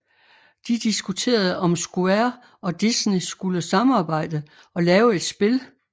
De diskuterede om Square og Disneyskulle samarbejde og lave et spil